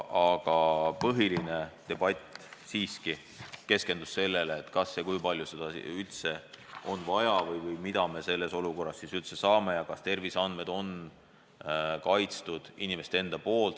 Aga põhiline debatt keskendus sellele, kui palju seda üldse on vaja ja kas inimeste terviseandmed ikka on kaitstud.